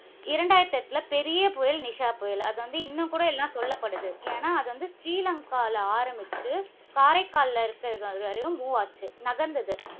இரண்டாயிரத்தி எட்டுல பெரிய புயல் நிஷா புயல். அதுவந்து, இன்னும்கூட எல்லாம் சொல்லப்படுது. ஏன்னா அது வந்து ஸ்ரீலங்காவில ஆரம்பிச்சு, காரைக்கால் இருக்கிற வரையும் move ஆச்சு. நகர்ந்தது.